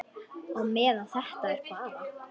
Á meðan þetta er bara.